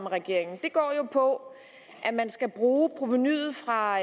regeringen går jo på at man skal bruge provenuet fra